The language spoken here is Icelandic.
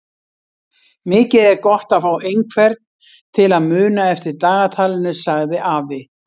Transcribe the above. Mikið er gott að fá einhvern til að muna eftir dagatalinu sagði afi.